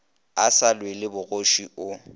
a sa lwele bogoši o